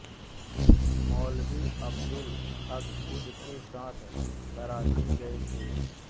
मौलवी अब्दुल हक खुद के साथ कराची गए थे